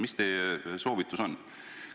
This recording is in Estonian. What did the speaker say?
Mis teie soovitus on?